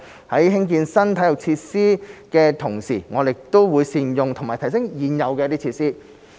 在興建新體育設施的同時，我們亦須善用和提升現有設施。